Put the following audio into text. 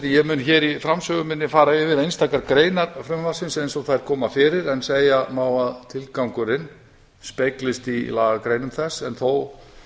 ég mun hér í framsögu minni fara yfir einstakar greinar frumvarpsins eins og þær koma fyrir en segja má að tilgangurinn speglist í lagagreinum þess en þó